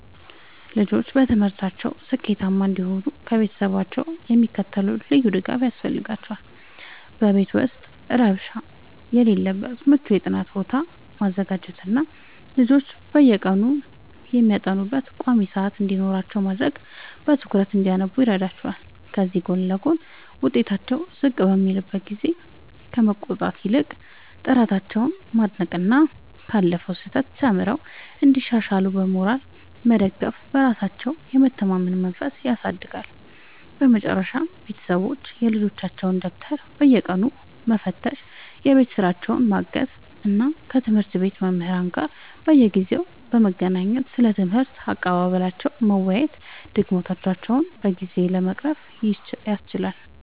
ልጆች በትምህርታቸው ስኬታማ እንዲሆኑ ከቤተሰቦቻቸው የሚከተለው ልዩ ድጋፍ ያስፈልጋቸዋል፦ በቤት ውስጥ ረብሻ የሌለበት ምቹ የጥናት ቦታ ማዘጋጀትና ልጆች በየቀኑ የሚያጠኑበት ቋሚ ሰዓት እንዲኖራቸው ማድረግ በትኩረት እንዲያነቡ ይረዳቸዋል። ከዚህ ጎን ለጎን፣ ውጤታቸው ዝቅ በሚልበት ጊዜ ከመቆጣት ይልቅ ጥረታቸውን ማድነቅና ካለፈው ስህተት ተምረው እንዲሻሻሉ በሞራል መደገፍ በራሳቸው የመተማመን መንፈስን ያሳድጋል። በመጨረሻም ቤተሰቦች የልጆቻቸውን ደብተር በየቀኑ መፈተሽ፣ የቤት ሥራቸውን ማገዝ እና ከትምህርት ቤት መምህራን ጋር በየጊዜው በመገናኘት ስለ ትምህርት አቀባበላቸው መወያየት ድክመቶቻቸውን በጊዜ ለመቅረፍ ያስችላል።